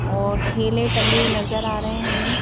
और थेले टंगे नजर आ रहे हैं हमें--